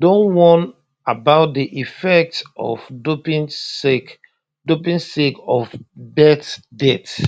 don warn about di effects of doping sake doping sake of bett death